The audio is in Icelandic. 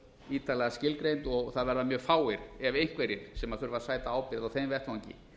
ítarlega skilgreind og það verða mjög fáir ef einhverjir sem þurfa að sæta ábyrgð á þeim vettvangi